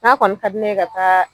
N ga kɔni ka di ne ye ka taa